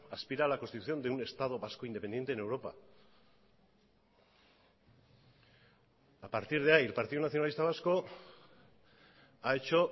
aspira a la constitución de un estado vasco independiente en europa a partir de ahí el partido nacionalista vasco ha hecho